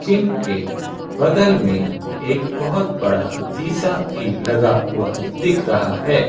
इनके बगल में एक बहुत बड़ा शीशा भी लगा हुआ दिख रहा है।